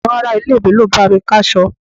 Àwọn ará-ilé mi ló bá mi ká'sọ.